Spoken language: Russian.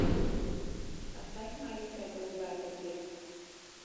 поставь маленькая голубая таблетка